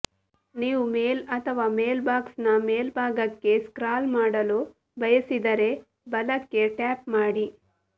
ನೀವು ಮೇಲ್ ಅಥವಾ ಮೇಲ್ಬಾಕ್ಸ್ನ ಮೇಲ್ಭಾಗಕ್ಕೆ ಸ್ಕ್ರಾಲ್ ಮಾಡಲು ಬಯಸಿದರೆ ಬಲಕ್ಕೆ ಟ್ಯಾಪ್ ಮಾಡಿ